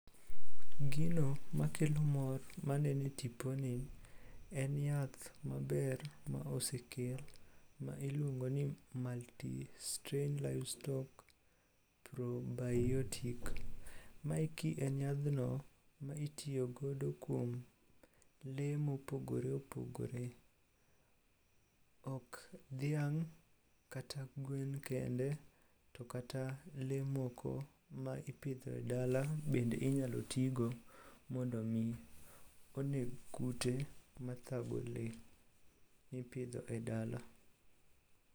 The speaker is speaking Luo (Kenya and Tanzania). Gino makelo mor maneno e tiponi en yath maber ma osekel ma iluongo ni multi -strain livestock probiotic. Maeki en yadhno ma itiyogodo kuom lee mopogore opogore. Ok dhiang' kata gwen kende, to kata lee moko ma ipidho e dala bende inyalo tigo mondo omi oneg kute mathago lee mipidho e dala.